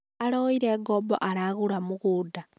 aroire ngombo aragũra mũgũnda